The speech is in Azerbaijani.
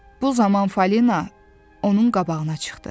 Bu zaman Fəlinə onun qabağına çıxdı.